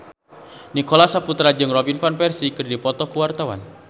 Nicholas Saputra jeung Robin Van Persie keur dipoto ku wartawan